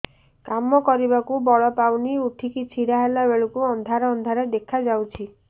କାମ କରିବାକୁ ବଳ ପାଉନି ଉଠିକି ଛିଡା ହେଲା ବେଳକୁ ଅନ୍ଧାର ଅନ୍ଧାର ଦେଖା ଯାଉଛି